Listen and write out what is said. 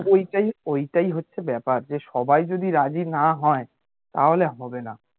ওইটাই হচ্ছে ব্যাপার যে সবাই যদি রাজি না হয় তাহলে হবে না